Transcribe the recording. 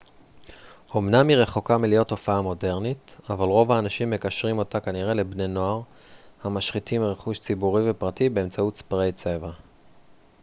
אמנם היא רחוקה מלהיות תופעה מודרנית אבל רוב האנשים מקשרים אותה כנראה לבני נוער המשחיתים רכוש ציבורי ופרטי באמצעות ספריי צבע